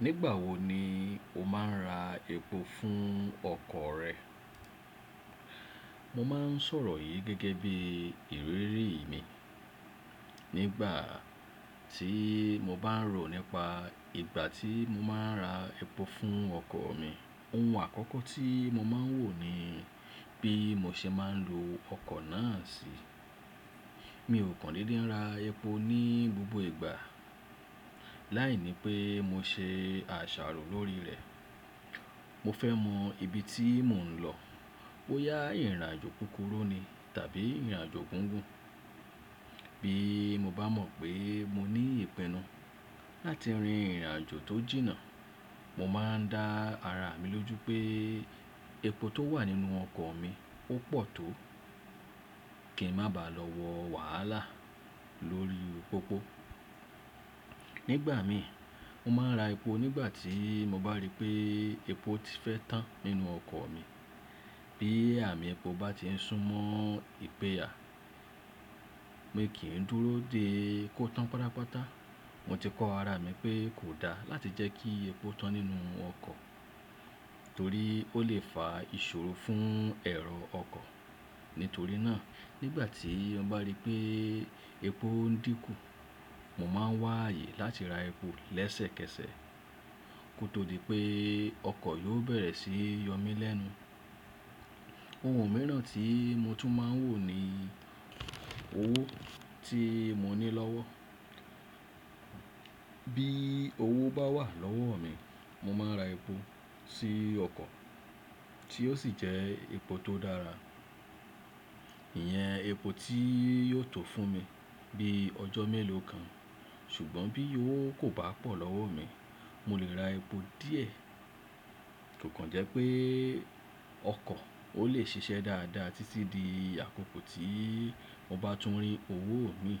Nígbà wo ni o máa ń ra epo fún ọkọ̀ rẹ? Mo máa ń sọ̀rọ̀ yìí gẹ́gẹ́ bí ìrírí mi. Nígbà tí mo bá ń rò nípa ìgbà tí mo máa ń ra epo fún ọkọ̀ mi, ohun àkọ́kọ́ tí mo máa ń wò ni bí mo ṣe máa ń lo ọkọ̀ náà sí. Mi ò kan dede nra epo ní gbogbo ìgbà, láìní pé mo ṣe àṣàrò lórí rẹ̀. Mo fẹ́ mọ ibi tí mò ń lọ, bó yá ìrìnàjò kúkúrú ni tàbí ìrìnàjò gígùn. Bí mo bá mọ̀ pé mo ní ìpinnu láti rin ìrìnàjò tó jìnnà, mo máa ń dá ara mi lójú pé epo tó wà nínú ọkọ̀ mi ó pọ̀ tó, kí n má bàá lọ wọ wàhálà lórí pòpó. Nígbà mi, mo máa ń ra epo nígbà tíi mo bá rí pée epo ti fẹ́ tán nínú ọkọ̀ mi. Bí àmì epo bá ti ń sún mọ́ ìpẹyà, mi kì í dúró dé kó tán pátápátá. Mo ti kọ́ ara mi pé kò da láti jẹ́ kí epo tán nínú ọkọ̀ torí ó lè fa ìṣòro fún ẹ̀rọ ọkọ̀. Nítorí náà, nígbà tí n bá rí pé epo ń dínkù, mo máa ń wá ààyè láti ra epo lẹ́sẹ̀kẹsẹ̀, kó tó di pé ọkọ̀ yóò bẹ̀rẹ̀ sí yọ mí lẹ́nu. Ohun mìíràn tí mo tún máa ń wò ni owó tí mo ní lọ́wọ́. Bí owó bá wà lọ́wọ́ mi, mo máa ń ra epo sí ọkọ̀ tí ó sì jẹ́ epo tó dára. Iyẹn epo tí yóò tó fún mi bí ọjọ́ mélòó kan. Ṣùgbọ́n bí owó kò bá pọ̀ lọ́wọ́ mi, mo lè ra epo díẹ̀. Kò kan jẹ́ pé ọkọ̀ ó lè ṣiṣẹ́ dáadáa títí di àkókò tí mo bá tún rí owó mi.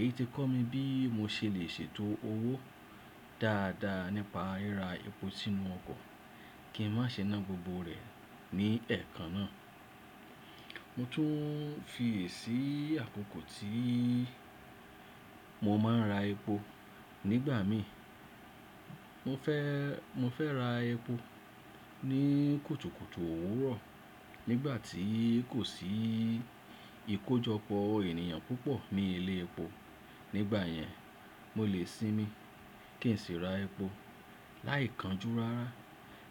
Èyí ti kọ́ mi bí mo ṣe lè ṣètò owó dáadáa nípa ríra epo sínú ọkọ̀ kí n má ṣe ná gbogbo rẹ̀ ní ẹ̀ẹ̀kan náà. Mo tún fi yèsì àkókò tí mo máa ń ra epo nígbà mi. Mo fẹ́, mo fẹ́ ra epo ní kùtùkùtù òwúrọ̀. Nígbà tí kò sí ìkójọpọ̀ ènìyàn púpọ̀ ní ilé epo. Nígbà yẹn, mo lè sinmi kí n sì ra epo láìkanjú rárá.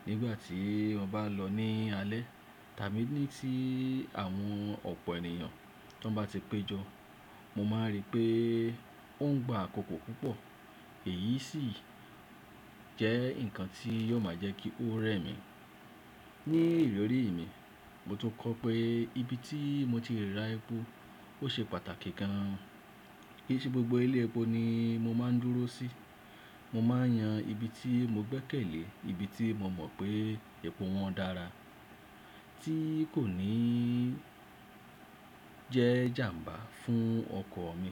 Nígbà tí o bá lọ ní alẹ́ tàbí ní tí àwọn ọ̀pọ̀ ènìyàn tan bá ti péjọ, mo máa rí pé ó ń gba àkókò púpọ̀. Èyí sì jẹ́ nǹkan tí yóò máa jẹ́ kí ó rẹ̀ mí. Ní ìrírí mi, mo tún kọ́ pé ibi tí mo ti lè ra epo ó ṣe pàtàkì gan. Kì í ṣe gbogbo ilé epo ni mo máa ń dúró sí. Mo máa n yan ibi tí mo gbẹ́kẹ̀lé, ibi tí mo mọ̀ pé epo wọn dára tí kò ní jẹ́ jàmbá fún ọkọ̀ mi.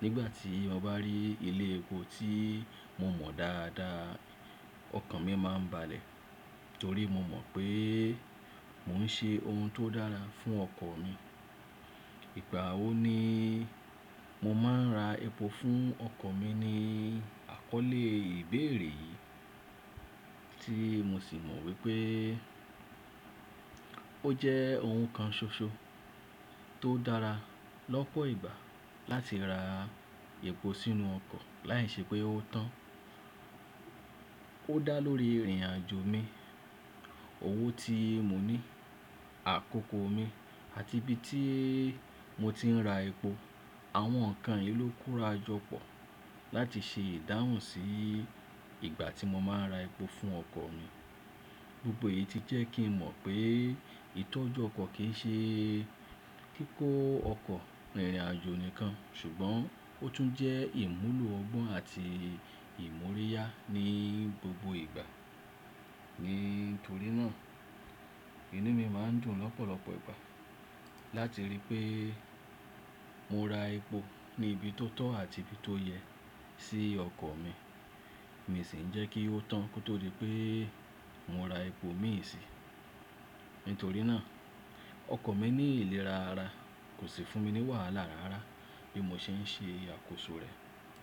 Nígbà tí mo bá rí ilé epo tí mo mọ̀ dáadáa, ọkàn mi máa ń balẹ̀ torí mo mọ̀ pé mò ń ṣe ohun tó dára fún ọkọ̀ mi. Ìgbà wo ni mo máa ń ra epo fún ọkọ̀ mi ni àkọ́lé ìbéèrè yìí tí mo sì mọ̀ wípé ó jẹ́ ohun kan ṣoṣo tó dára lọ́pọ̀ ìgbà láti ra epo sínú ọkọ̀ láìṣẹ́ pé ó tán. Ó dá lórí ìrìnàjò mi, owó tí mo ní, àkókò mi àti ibi tí mo ti ń ra epo. Àwọn nǹkan yìí ló kóra jọ pọ̀ láti ṣe ìdáhùn sí ìgbà tí mo máa ń ra epo fún ọkọ̀ mi. Gbogbo èyí ti jẹ́ kí n mọ̀ pé ìtọ́jú ọkọ̀ kì í ṣe kíkó ọkọ̀ rìnrìnàjò nìkan ṣùgbọ́n ó tún jẹ́ ìmúlò ọgbọ́n àti ìmúríyá ní gbogbo ìgbà. Nítorí náà, inú mi máa ń dùn lọ́pọ̀lọ́pọ̀ ìgbà láti rí pé mo ra epo ní ibi tó tọ́ àti ibi tó yẹ sí ọkọ̀ mi. Mi sì ń jẹ́ kí ó tán kó tó di pé mo ra epo mìí síi. Nítorí náà, ọkọ̀ mi ní ìlera ara, kò sì fún mi ní wàhálà rarara bí mo ṣe ń ṣe àkóso rẹ̀.